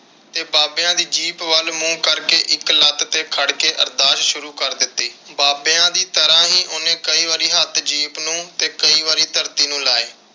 ਤੇ ਬਾਬਿਆਂ ਦੀ ਜੀਪ ਵੱਲ ਮੂੰਹ ਕਰਕੇ ਇਕ ਲੱਤ ਤੇ ਖੜ ਕੇ ਅਰਦਾਸ ਸ਼ੂਰੂ ਕਰ ਦਿੱਤੀ। ਬਾਬਿਆਂ ਦੀ ਤਰ੍ਹਾਂ ਹੀ ਉਹਨੇ ਕਈ ਵਾਰੀ ਹੱਥ ਜੀਪ ਨੂੰ ਤੇ ਕਈ ਵਾਰੀ ਧਰਤੀ ਨੂੰ ਲਾਏ।